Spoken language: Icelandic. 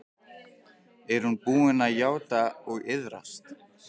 Er hún búin að játa og iðrast?